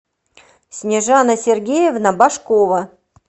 снежана сергеевна башкова